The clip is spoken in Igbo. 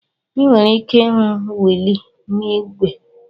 Ị nwere ike ịhụ wiili n'ígwè.